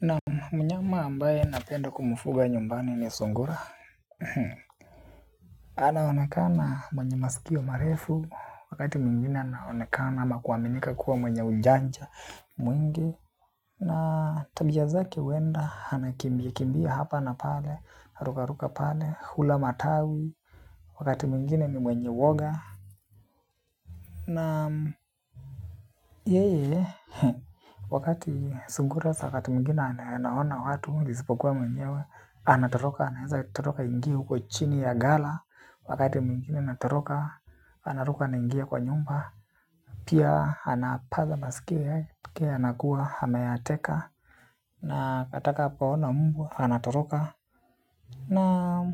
Naam mnyama ambaye napenda kumfuga nyumbani ni Sungura. Anaonekana mwenye masikio marefu. Wakati mwingine anaonekana ama kuaminika kuwa mwenye unjanja mwingi. Na tabia zake uenda, anakimbia hapa na pale, haruka ruka pale, hula matawi. Wakati mwingine ni mwenye woga. Na yeye, wakati sungura, wakati mwingine anaona watu isipokuwa mwenyewe. Anatoloka. Anaeza totoroka aingie huko chini ya gala. Wakati mwingine anatoroka. Anaroka anaingia kwa nyumba. Pia anapaza masikio yake anakuwa hameateka. Na atakapaona mbwa Anatoloka. Na